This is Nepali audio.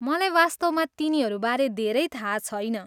मलाई वास्तवमा तिनीहरूबारे धेरै थाहा छैन।